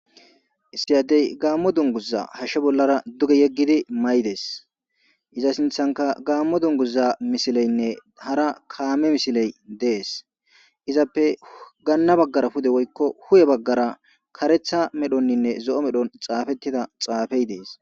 Issi addey gaammo dunguza hashshe bollara duge yeggidi may dees iza sinthanka gaammo dunguza misileynne hara kaame misiley dees izappe gaanna baggara pude woykko hu7e baggara karetha medhonninne zo7o medhon xaafettida xaafey dees.